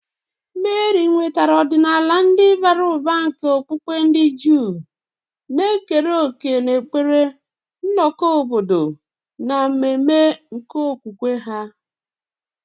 Meri nwetara ọdịnala ndị bara ụba nke okpukpe ndị Juu, na-ekere òkè n'ekpere, nnọkọ obodo, na ememe nke okwukwe ha.